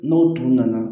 N'o tun nana